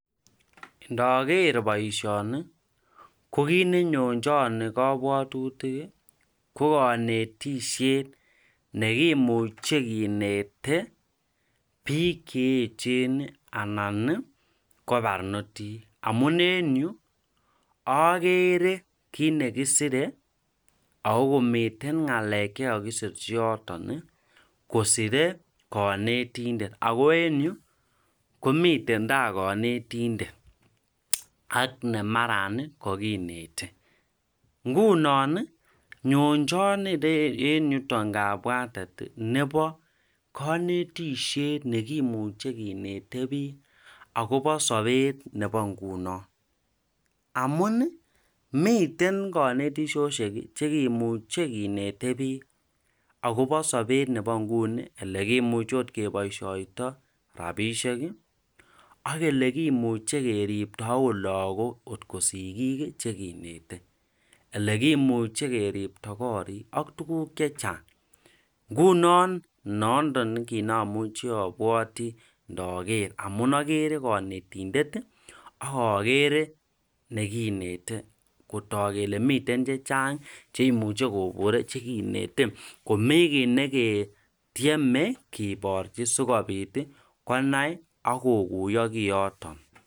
Ndaker baishoni kokit nenonchan kabwatutik kokanetishet neimuche Kente bik cheyechen anan ko barnotik amun en Yu agere kit nekisire akomiten ngalek chekakisirchi yoton kosire kanetindet ako en Yu komiten ta kanetindet ak nemara kinete ngunon nyonjan en yuton kabwatet Nebo kanetishet neimuche kinete bik akoba Sabet Nebo ingunon amun miten kanetishoshek cheimuche kenete bik akoba Sabet Nebo inguni neimuche okot kibaishoitoi rabishek Koyelekimuche keribto okot lagok kot ko sikik chekinete elekimuche keribto korik ak tuguk chechang ngunon mondo neamwae cheabwati maker amun agere kanetishet agagere nekineten Kotak Kole miten chechang cheimuche kekon chekinete komii kit neketiemenkibarchi sikobit konai agoguiyo kiyoton